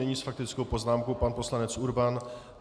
Nyní s faktickou poznámkou pan poslanec Urban.